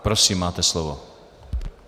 Prosím, máte slovo.